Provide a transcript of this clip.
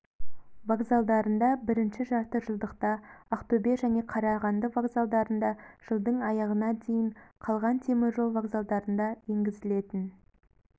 вокзалдарында бірінші жарты жылдықта ақтөбе және қарағанды вокзалдарында жылдың аяғына дейін қалған теміржол вокзалдарында енгізілетін